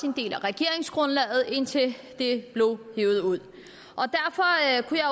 en del af regeringsgrundlaget indtil det blev hevet ud